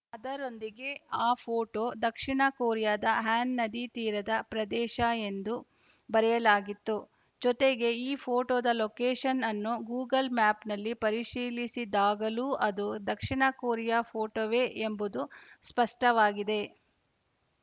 ಅದರೊಂದಿಗೆ ಆ ಫೋಟೋ ದಕ್ಷಿಣ ಕೊರಿಯಾದ ಹ್ಯಾನ್‌ ನದಿ ತೀರದ ಪ್ರದೇಶ ಎಂದು ಬರೆಯಲಾಗಿತ್ತು ಜೊತೆಗೆ ಈ ಫೋಟೋದ ಲೊಕೇಶನ್‌ ಅನ್ನು ಗೂಗಲ್‌ ಮ್ಯಾಪ್‌ನಲ್ಲಿ ಪರಿಶೀಲಿಸಿದಾಗಲೂ ಅದು ದಕ್ಷಿಣ ಕೊರಿಯಾ ಫೋಟೋವೇ ಎಂಬುದು ಸ್ಪಷ್ಟವಾಗಿದೆ